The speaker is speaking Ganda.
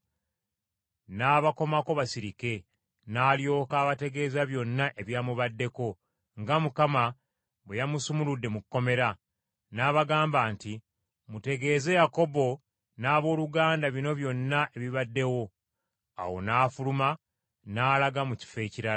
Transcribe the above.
N’abakomako basirike, n’alyoka abategeeza byonna ebyamubaddeko, nga Mukama bwe yamusumuludde mu kkomera. N’abagamba nti, “Mutegeeze Yakobo n’abooluganda bino byonna ebibaddewo.” Awo n’afuluma n’alaga mu kifo ekirala.